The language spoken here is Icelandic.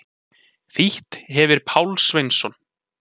Þýtt hefir Páll Sveinsson.